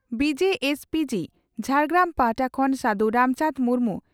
ᱵᱹᱡᱹᱥᱹᱚᱹᱜᱹ ᱡᱷᱟᱲᱜᱨᱟᱢ ᱯᱟᱦᱴᱟ ᱠᱷᱚᱱ ᱥᱟᱹᱫᱷᱩ ᱨᱟᱢᱪᱟᱱᱫᱽ ᱢᱩᱨᱢᱩ